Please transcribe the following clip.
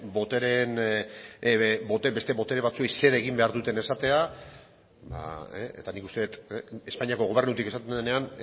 beste botere batzuei zer egin behar duten esatea eta nik uste dut espainiako gobernutik esaten denean